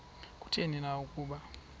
kutheni na ukuba